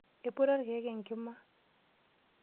Eiputa irkeek enkima.